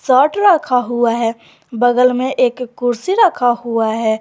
Shirt रखा हुआ है बगल में एक कुर्सी रखा हुआ है।